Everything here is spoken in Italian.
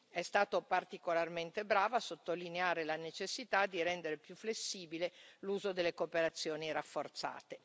È stato particolarmente bravo a sottolineare la necessità di rendere più flessibile l'uso delle cooperazioni rafforzate.